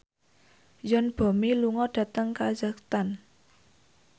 Yoon Bomi lunga dhateng kazakhstan